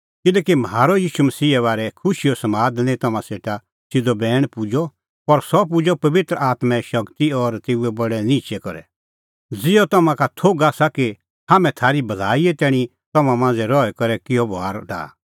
किल्हैकि म्हारअ ईशू मसीहे बारै खुशीओ समाद निं तम्हां सेटा सिधअ बैण पुजअ पर सह पुजअ पबित्र आत्में शगती और तेऊए बडै निहंचै करै ज़िहअ तम्हां का थोघ आसा कि हाम्हैं थारी भलाईए तैणीं तम्हां मांझ़ै रही करै किहअ बभार डाहअ